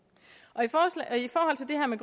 i